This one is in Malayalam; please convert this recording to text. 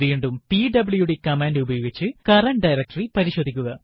വീണ്ടും പിഡബ്ല്യുഡി കമാൻഡ് ഉപയോഗിച്ച് കറന്റ് ഡയറക്ടറി പരിശോധിക്കുക